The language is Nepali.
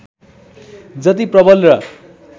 जति प्रबल र